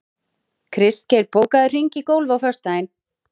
Kristgeir, bókaðu hring í golf á föstudaginn.